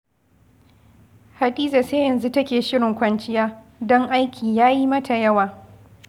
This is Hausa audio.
Hadiza sai yanzu take shirin kwanciya, don aiki ya yi mata yawa